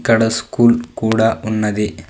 ఇక్కడ స్కూల్ కూడా ఉన్నది.